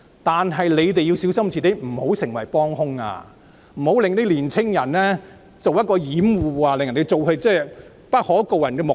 但請大家小心，不要成為幫兇，更不要以年青人作掩護，以達致不可告人的目的。